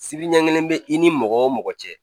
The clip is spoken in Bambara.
Sibi ɲɛ kelen be i ni mɔgɔ o mɔgɔ cɛ